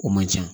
O man ca